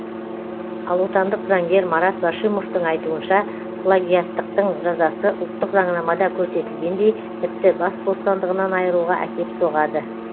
ал отандық заңгер марат башимовтың айтуынша плагиаттықтың жазасы ұлттық заңнамада көрсетілгендей тіпті бас бостандығынан айыруға әкеп соғады